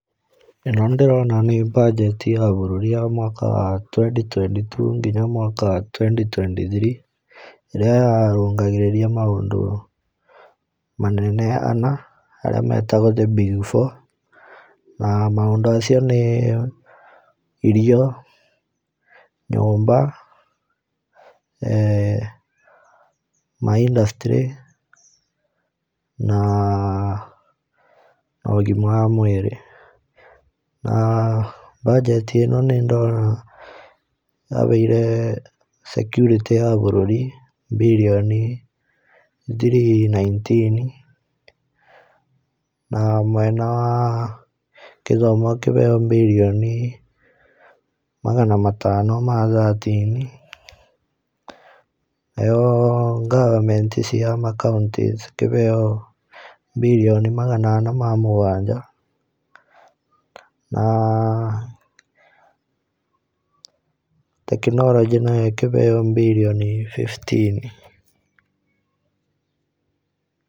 Ĩno nĩndĩrona nĩ mbanjeti ya bũrũri ya mwaka wa twenty twenty two nginya mwaka wa twenty twenty three iria yarungagĩrĩria maũndũ manene ana arĩa metagwo the big four. Maũndũ acio nĩ irio, nyumba um, maindacitirĩ na um ũgima wa mwĩrĩ. um Mbanjeti ĩno nĩndona yaheire security ya bũrũri mbirioni three nineteen, na mwena wa kĩthomo ũkĩheo mbirioni magana matano ma thatini, nayo government cia makaĩntĩ ikĩheo mbirioni magana ana ma mũgwanja na technology nayo ĩkĩheo mbirioni fifteen.